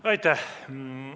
Aitäh!